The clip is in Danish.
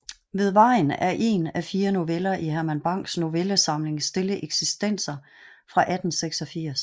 Ved Vejen er én af fire noveller i Herman Bangs novellesamling Stille Eksistenser fra 1886